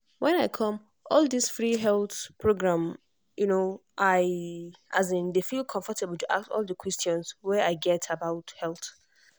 when i come all this free health program um i um dey feel comfortable to ask all the questions wey i get about health.